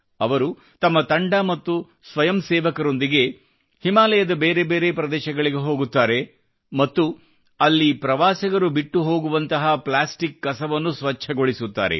ಅವರು ತಮ್ಮ ತಂಡ ಮತ್ತು ಸ್ವಯಂ ಸೇವಕರೊಂದಿಗೆ ಹಿಮಾಲಯದ ಬೇರೆ ಬೇರೆ ಪ್ರದೇಶಗಳಿಗೆ ಹೋಗುತ್ತಾರೆ ಮತ್ತು ಅಲ್ಲಿ ಪ್ರವಾಸಿಗರು ಬಿಟ್ಟು ಹೋಗುವಂತಹ ಪ್ಲಾಸ್ಟಿಕ್ ಕಸವನ್ನು ಸ್ವಚ್ಛಗೊಳಿಸುತ್ತಾರೆ